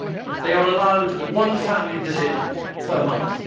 They are allowed one family visit per month.